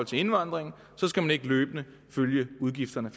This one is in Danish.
til indvandringen skal man ikke løbende følge udgifterne